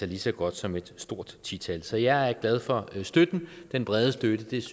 lige så godt som et stort ti tal så jeg er glad for den brede støtte